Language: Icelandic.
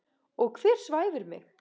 Og hver svæfir mig?